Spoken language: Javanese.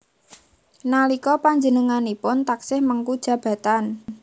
Nalika panjenenganipun taksih mengku jabatan